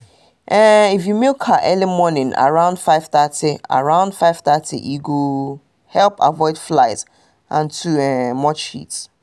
if you milk cow early um morning around 5:30 around 5:30 e go help avoid flies and too um much heat